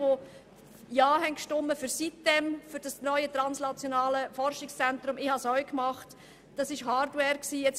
An all jene, die beim neuen translationalen Zentrum sitem-insel Ja gestimmt haben: Damals haben wir der «Hardware» zugestimmt.